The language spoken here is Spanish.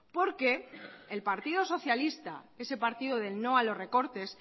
porque el partido socialista ese partido del no a los recortes